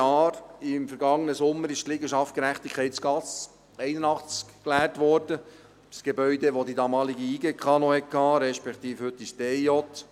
Im vergangenen Sommer wurde die Liegenschaft Gerechtigkeitsgasse 81 geleert, ein Gebäude, das die damalige JGK noch hatte, respektive die heutige DIJ.